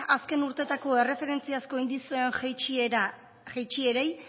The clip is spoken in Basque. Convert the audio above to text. azken urteetako erreferentziazko indizearen jaitsierei